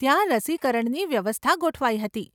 ત્યાં રસીકરણની વ્યવસ્થા ગોઠવાઈ હતી.